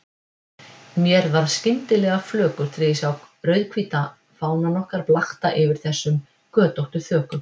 Mér varð skyndilega flökurt þegar ég sá rauðhvíta fánann okkar blakta yfir þessum götóttu þökum.